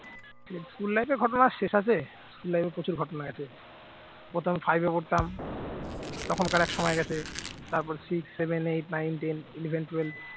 school life এর ঘটনা শেষ আছে school life এ প্রচুর ঘটনা আছে। প্রথমে five পড়তাম তখনকার এক সময় গেছে তারপর six, seven, eight, nine, ten, eleven, twelve